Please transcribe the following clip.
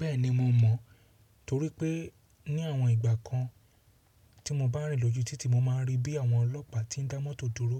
Bẹ́ẹ̀ni mo mọ̀ torí pé ní àwọn ìgbà kan tí mo bá rìn lójú títì mo máa ń rí bí àwọn ọlọ́pàá tí ń dá mọ́tò dúró